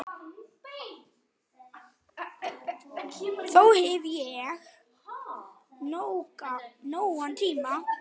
Þá hef ég nógan tíma.